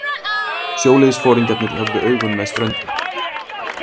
Sjóliðsforingjarnir höfðu augun með ströndinni.